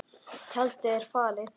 Tjaldið er fallið og frá.